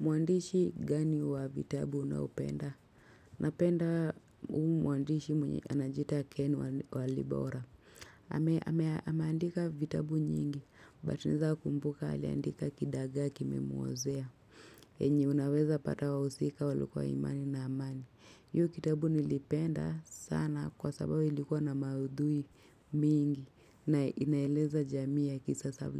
Mwandishi gani wa vitabu unaopenda? Napenda huu mwandishi mwenye anajiita ken walibora. Ame andika vitabu nyingi, but naeza kumbuka aliandika kidagaa kime muozea. Enye unaweza pata wa usika walukwa imani na amani. Hio kitabu nilipenda sana kwa sababu ilikuwa na maudhui mingi na inaeleza jamii ya kisasa